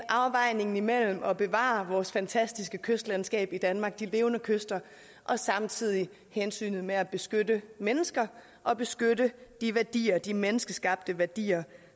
afvejningen imellem at bevare vores fantastiske kystlandskab i danmark de levende kyster og samtidig hensynet med at beskytte mennesker og beskytte de værdier de menneskeskabte værdier